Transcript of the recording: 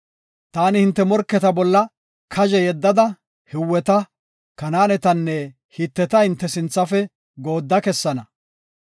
Taani hinte morketa bolla kazhe yeddada Hiweta, Kanaanetanne Hiteta hinte sinthafe goodda kessana.